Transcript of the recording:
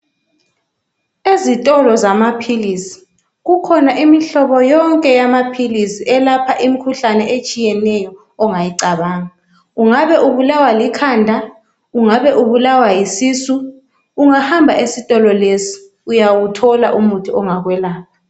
Ezitolo zamaphilisi kukhona imihlobo yonke yamaphilisi elapha imkhuhlane etshiyeneyo ongayicabanga ungabe ubulawa likhanda, ungabe ubulawa yisisu ungahamba esitolo lesi uyawuthola umuthi ongakwelapha